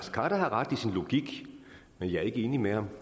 khader har ret i sin logik men jeg er ikke enig med ham